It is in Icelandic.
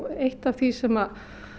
eitt af því sem